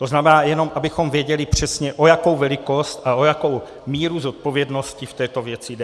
To znamená, jenom abychom věděli přesně, o jakou velikost a o jakou míru zodpovědnosti v této věci jde.